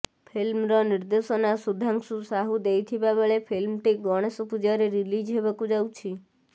ଫିଲ୍ମର ନିର୍ଦ୍ଦେଶନା ସୁଧାଂଶୁ ସାହୁ ଦେଇଥିବା ବେଳେ ଫିଲ୍ମଟି ଗଣେଶ ପୂଜାରେ ରିଲିଜ୍ ହେବାକୁ ଯାଉଛି